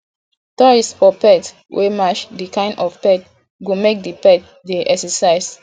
toys for pet wey match di kind of pet go make di pet dey exercise